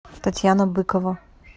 татьяна быкова